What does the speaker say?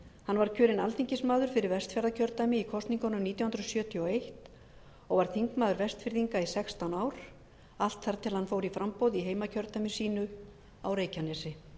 hann var kjörinn alþingismaður fyrir vestfjarðakjördæmi í kosningunum nítján hundruð sjötíu og eins og var þingmaður vestfirðinga í sextán ár allt þar til hann fór í framboð í heimakjördæmi sínu á reykjanesi